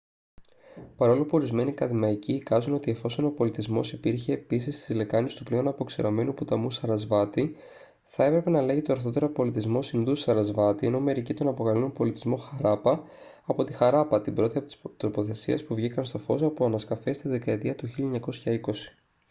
παρόλο που ορισμένοι ακαδημαϊκοί εικάζουν ότι εφόσον ο πολιτισμός υπήρχε επίσης στις λεκάνες του πλέον αποξηραμένου ποταμού σαρασβάτι θα έπρεπε να λέγεται ορθότερα πολιτισμός ινδού-σαρασβάτι ενώ μερικοί τον αποκαλούν πολιτισμό χαράπα από τη χαράπα την πρώτη από τις τοποθεσίες που βγήκαν στο φως από ανασκαφές τη δεκαετία του 1920